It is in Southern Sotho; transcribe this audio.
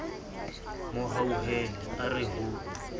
mo hauhela a re ho